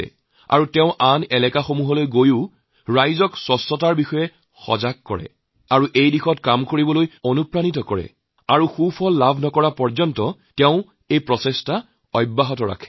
বিলালেও অন্য এলেকাত গৈ তাৰ লোকসকলক স্বচ্ছতাৰ বিষয়ে শিক্ষিত কৰি তুলিছে তেওঁলোকক অনুপ্ৰাণিত কৰিছে আৰু প্ৰত্যাশিত ফল নোপোৱালৈকে এৰি দিয়া নাই